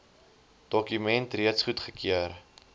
dokument reeds goedgekeur